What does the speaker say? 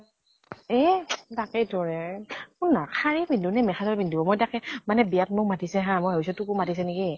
এ তাকেই তো হে, শুন না । শাৰী পিন্ধো নে মেখেলা চা পিন্ধো, মই তাকে, মানে বিয়া ত মোক মাতিছে হা, মই ভাবিছো তোকো মাতিছে নেকি